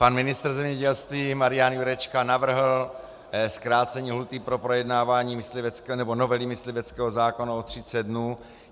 Pan ministr zemědělství Marian Jurečka navrhl zkrácení lhůty pro projednávání novely mysliveckého zákona o 30 dnů.